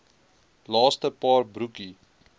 laaste paar broekie